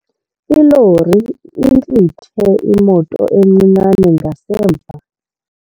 Ilori intlithe imoto encinane ngasemva.